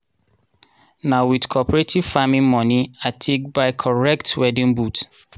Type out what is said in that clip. na with cooperative farming moni i take buy corrent weeding boot.